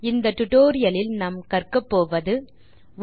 இந்த டுடோரியலின் முடிவில் உங்களால் பின் வருவனவற்றை செய்ய முடியும்